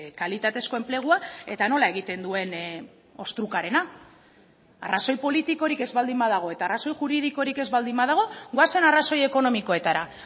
kalitatezko enplegua eta nola egiten duen ostrukarena arrazoi politikorik ez baldin badago eta arazo juridikorik ez baldin badago goazen arrazoi ekonomikoetara